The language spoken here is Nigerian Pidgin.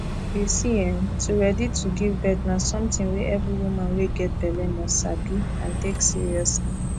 you see[um]to ready to give birth na something wey every woman wey get belle must sabi and take seriously